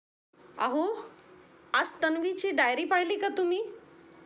आहो आज तन्वी ची डायरी पाहिली का तुम्ही